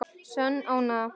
Sönn ánægja.